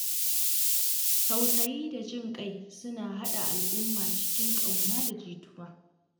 Tausayi da jin ƙai suna haɗa al’umma cikin ƙauna da jituwa.